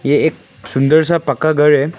ये एक सुंदर सा पक्का घर है।